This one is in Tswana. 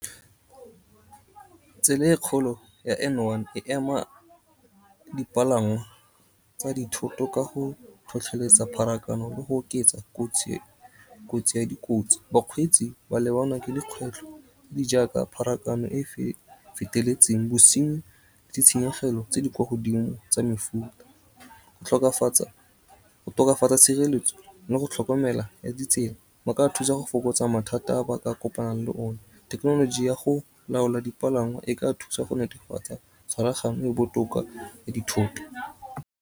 Tsela e kgolo ya N one e ema dipalangwa tsa dithoto ka go tlhotlheletsa pharakano le go oketsa kotsi ya dikotsi. Bakgweetsi ba lebanwa ke dikgwetlho di jaaka pharakano e feteletseng, bosinyi, ditshenyegelo tse di kwa godimo tsa mefuta. Go tokafatsa tshireletso le go tlhokomela ditsela go ka thusa go fokotsa mathata a ba ka kopana le one. Thekenoloji ya go laola dipalangwa e ka thusa go netefatsa tshwaragano e botoka ya dithoto.